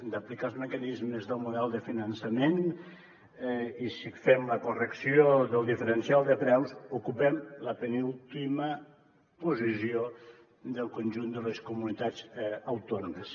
d’aplicar els mecanismes del model de finançament si fem la correcció del diferencial de preus ocupem la penúltima posició del conjunt de les comunitats autònomes